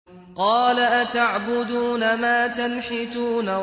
قَالَ أَتَعْبُدُونَ مَا تَنْحِتُونَ